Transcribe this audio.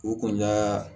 U kun y'a